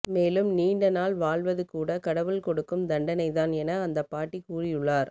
மேலும் நீண்ட நாள் வாழ்வது கூட கடவுள் கொடுக்கும் தண்டனை தான் என அந்த பாட்டி கூறியுள்ளார்